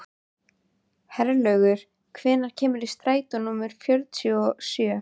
Herlaugur, hvenær kemur strætó númer fjörutíu og sjö?